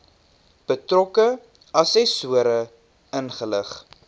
betrokke assessore ingelig